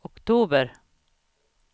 oktober